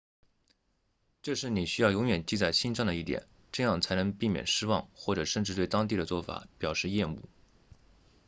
这是你需要永远记在心上的一点这样才能避免失望或者甚至对当地的做法表示厌恶